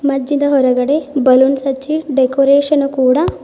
ಮಜ್ಜಿದ ಹೊರಗಡೆ ಬಲೂನ್ಸ್ ಹಚ್ಚಿ ಡೆಕೋರೇಷನ್ ಕೂಡ--